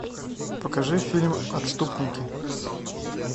покажи фильм отступники